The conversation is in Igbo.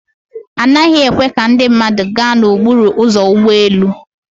Anaghị ekwe ka ndị mmadụ gaa n'okporo ụzọ ụgbọ elu.